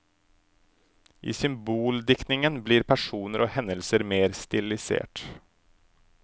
I symboldiktingen blir personer og hendelser mer stilisert.